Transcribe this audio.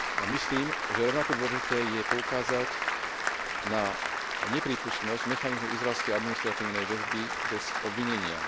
Myslím, že rovnako dôležité je poukázať na neprípustnosť mechanizmu izraelskej administratívnej väzby bez obvinenia.